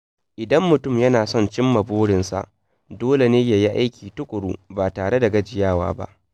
Idan mutum yana son cimma burinsa, dole ne ya yi aiki tuƙuru ba tare da gajiyawa ba.